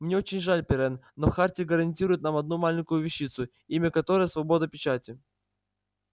мне очень жаль пиренн но хартия гарантирует нам одну маленькую вещицу имя которой свобода печати